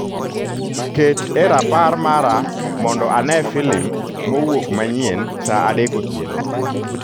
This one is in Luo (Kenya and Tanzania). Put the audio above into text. Ket e rapar mara mondo ane filimmowuok manyien saa adek otieno